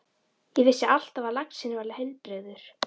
Ég vissi alltaf að laxinn var heilbrigður.